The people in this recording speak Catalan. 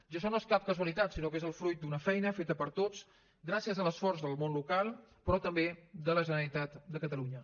i això no és cap casualitat sinó que és el fruit d’una feina feta per tots gràcies a l’esforç del món local però també de la generalitat de catalunya